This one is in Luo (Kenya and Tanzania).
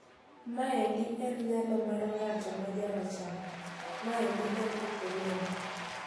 "Maendi en nyalo mar ng'at ma jarachar maendi en ukoloni."